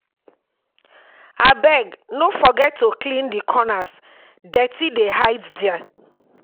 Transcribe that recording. Abeg, no forget to clean di corners, dirt dey hide there.